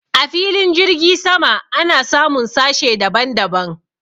a filin jirgi sama ana samun sashe daban daban